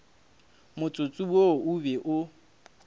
motsotso wo o be o